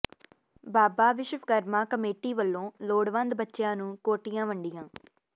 ਬਾਬਾ Vishwakarma committee ਵੱਲੋਂ ਲੋੜਵੰਦ ਬੱਚਿਆਂ ਨੂੰ ਕੋਟੀਆਂ ਵੰਡੀਆਂ